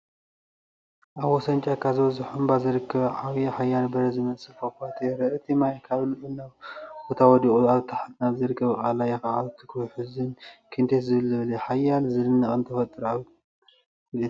ኣብ ወሰን ጫካ ዝበዝሖ እምባ ዝርከብ ዓብይን ሓያልን በረድ ዝመስል ፏፏቴ ይረአ። እቲ ማይ ካብ ልዑል ቦታ ወዲቑ ኣብ ታሕቲ ናብ ዝርከብ ቐላይ ክኣቱን ክውሕዝን ክንደይ ደስ ዘብል እዩ። ሓያልን ዝድነቕን ተፈጥሮኣዊ ትርኢት ይሕብር፡፡